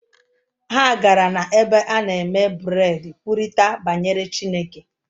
Ha gara n’ebe a na-eme bred kwurịta banyere Chineke